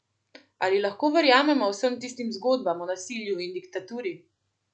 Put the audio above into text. Ali lahko verjamemo vsem tistim zgodbam o nasilju in diktaturi?